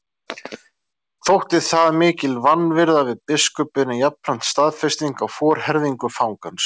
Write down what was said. Þótti það mikil vanvirða við biskupinn en jafnframt staðfesting á forherðingu fangans.